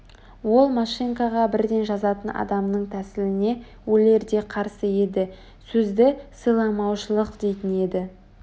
ол машинкаға бірден жазатын адамның тәсіліне өлердей қарсы еді сөзді сыйламаушылық дейтін-ді